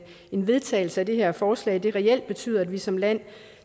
en vedtagelse af det her forslag reelt betyder at vi som land